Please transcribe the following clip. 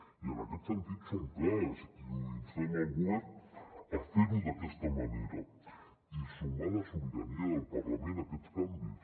i en aquest sentit som clars i instem el govern a fer·ho d’aquesta manera i sumar la sobirania del parlament a aquests canvis